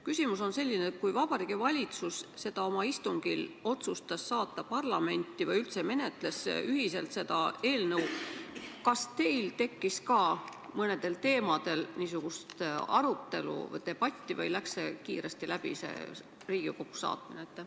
Küsimus on selline: kui Vabariigi Valitsus otsustas oma istungil ühiselt selle eelnõu üle, kas teil tekkis ka mõnel teemal debatt või läks see Riigikokku saatmine kiiresti läbi?